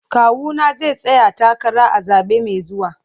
Kawuna zai tsaya takara a zabe mai zuwa.